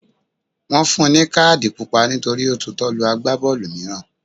Wọn fún un ní káàdì Pupa nítorí ó tutọ́ lu Àgbábọ́ọ̀lù mìíràn.